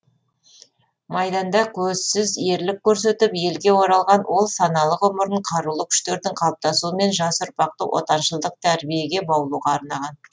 майданда көзсіз ерлік көрсетіп елге оралған ол саналы ғұмырын қарулы күштердің қалыптасуы мен жас ұрпақты отаншылдық тәрбиеге баулуға арнаған